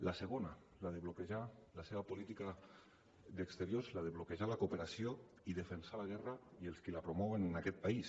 la segona la de bloquejar la seva política d’exteriors la de bloquejar la cooperació i defensar la guerra i els qui la promouen en aquest país